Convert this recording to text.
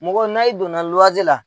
Mɔgɔ na i donna luwnse la